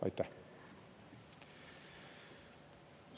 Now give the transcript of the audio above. Aitäh!